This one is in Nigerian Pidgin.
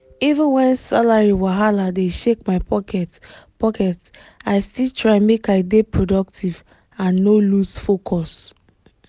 even when salary wahala dey shake my pocket pocket i still try make i dey productive and no lose focus.